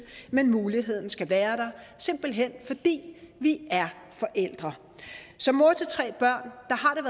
men muligheden skal være der simpelt hen fordi vi er forældre som mor til tre børn